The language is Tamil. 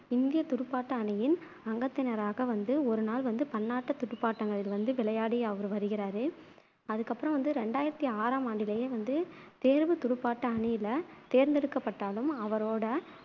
இந்தியத் துடுப்பாட்ட அணியின் அங்கத்தினராக வந்து ஒருநாள் வந்து பன்னாட்டுத் துடுப்பாட்டங்களில் வந்து விளையாடி அவரு வருகிறாரு அதுக்கப்பறம் வந்து ரெண்டாயிரத்தி ஆறாம் ஆண்டிலேயே வந்து தேர்வுத் துடுப்பாட்ட அணியில தேர்ந்தெடுக்கப்பட்டாலும் அவரோட